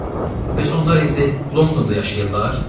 Bəs onlar indi Londonda yaşayırlar?